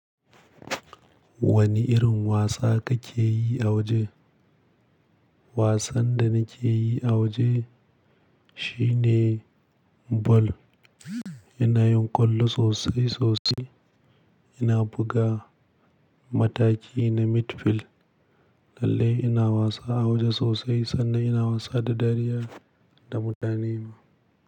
Wani irin wasa kake yi a waje? Wasan da nake yi a waje shine ball. Ina yin ƙwallo sosai sosai. Ina buga mataki na midfield. Lallai ina wasa a waje sosai sannan ina wasa da dariya da mutane ma.